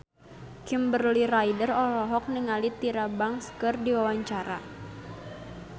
Kimberly Ryder olohok ningali Tyra Banks keur diwawancara